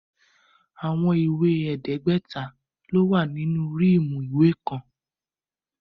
Awọn iwe ẹ̀ẹ́dẹ́gbẹ́ta lo wa ninu riimu iwe kan